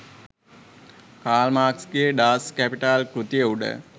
කාල් මාක්ස්ගේ Das Kapital කෘතිය උඩ